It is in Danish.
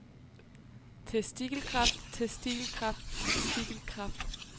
testikelkræft testikelkræft testikelkræft